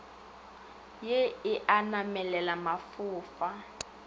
ye e a namelela mafofa